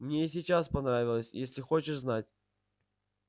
мне и сейчас понравилось если хочешь знать